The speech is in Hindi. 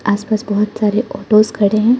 आस पास बहुत सारे ऑटोस खड़े हैं।